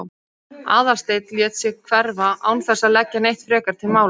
Aðalsteinn lét sig hverfa án þess að leggja neitt frekar til málanna.